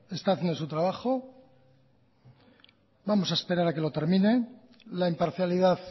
está haciendo su trabajo vamos a esperar a que lo termine la imparcialidad